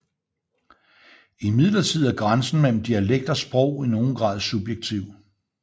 Imidlertid er grænsen mellem dialekt og sprog i nogen grad subjektiv